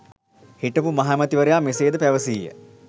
හිටපු මහ ඇමැතිවරයා මෙසේ ද පැවසීය